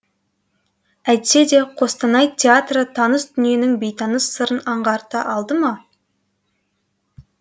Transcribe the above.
әйтсе де қостанай театры таныс дүниенің бейтаныс сырын аңғарта алды ма